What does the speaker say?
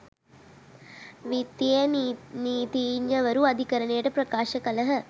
විත්තියේ නීතිඥවරු අධිකරණයට ප්‍රකාශ කළහ